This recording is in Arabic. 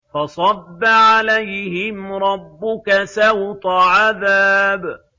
فَصَبَّ عَلَيْهِمْ رَبُّكَ سَوْطَ عَذَابٍ